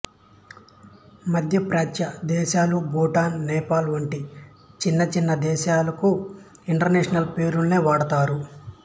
మధ్యప్రాచ్య దేశాలు భూటాన్ నేపాల్ వంటి చిన్న చిన్న దేశాలకు ఇంటర్నేషనల్ పేరోల్ నే వాడతారు